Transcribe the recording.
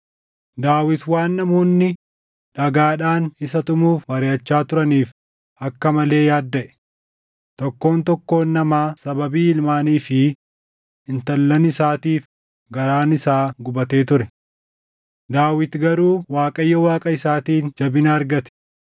Daawit waan namoonni dhagaadhaan isa tumuuf mariʼachaa turaniif akka malee yaaddaʼe; tokkoon tokkoon namaa sababii ilmaanii fi intallan isaatiif garaan isaa gubatee ture. Daawit garuu Waaqayyo Waaqa isaatiin jabina argate.